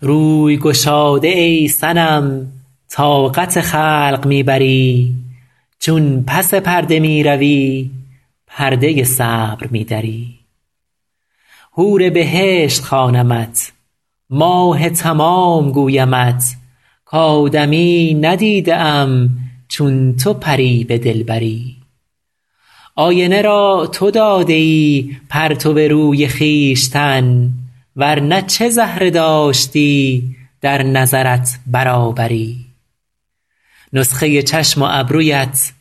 روی گشاده ای صنم طاقت خلق می بری چون پس پرده می روی پرده صبر می دری حور بهشت خوانمت ماه تمام گویمت کآدمیی ندیده ام چون تو پری به دلبری آینه را تو داده ای پرتو روی خویشتن ور نه چه زهره داشتی در نظرت برابری نسخه چشم و ابرویت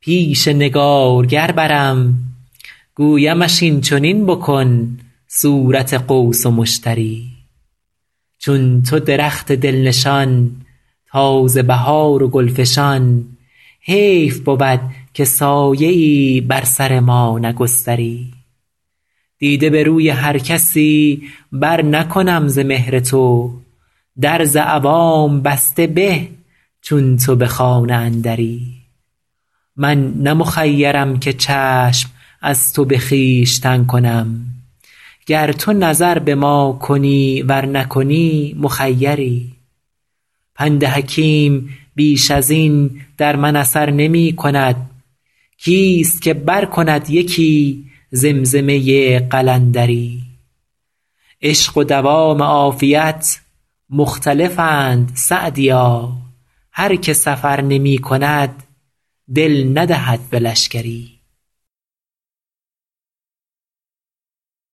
پیش نگارگر برم گویمش این چنین بکن صورت قوس و مشتری چون تو درخت دل نشان تازه بهار و گل فشان حیف بود که سایه ای بر سر ما نگستری دیده به روی هر کسی برنکنم ز مهر تو در ز عوام بسته به چون تو به خانه اندری من نه مخیرم که چشم از تو به خویشتن کنم گر تو نظر به ما کنی ور نکنی مخیری پند حکیم بیش از این در من اثر نمی کند کیست که برکند یکی زمزمه قلندری عشق و دوام عافیت مختلفند سعدیا هر که سفر نمی کند دل ندهد به لشکری